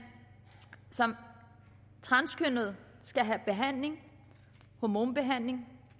som transkønnet skal have behandling hormonbehandling